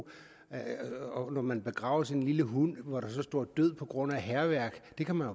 når man begraver sin lille hund og der så står død på grund af hærværk det kan man